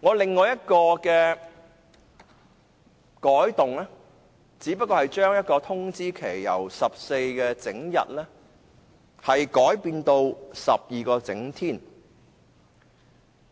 我另一項修訂建議，只是將通知期由14整天改為12整天，